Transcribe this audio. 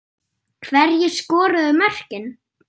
Hverjir skoruðu mörkin?